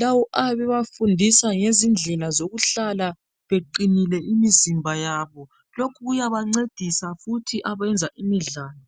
lawo ayabe ebafundisa ngezindlela zokuhlala beqinile imizimba yabo lokhu kuyabancedisa futhi abenza imidlalo